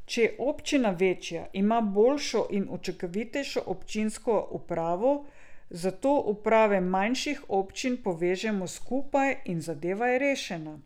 Če je občina večja, ima boljšo in učinkovitejšo občinsko upravo, zato uprave manjših občin povežemo skupaj in zadeva je rešena.